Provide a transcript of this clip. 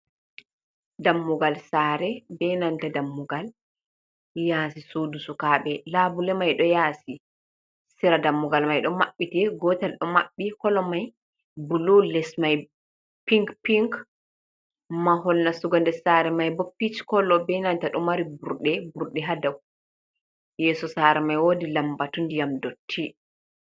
Dammugal saare benanta dammugal yaasi, suudu sukaabe, labule mai ɗo yaasi sera, dammugal mai ɗo mabbiti gootel ɗo maɓɓi. kolo mai bulu les mai pink pink mahol nastugo saare mai boo pink kolo benanta do mari burɗe burde haa yeeso saare mai woodi lambatu ndiyam dotti.